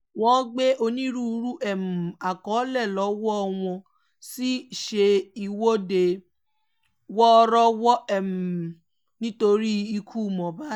wọ́n gbé onírúurú um àkọlé lọ́wọ́ wọ́n sì ṣe ìwọ́de wọ́ọ́rọ́wọ́ um nítorí ikú mohbad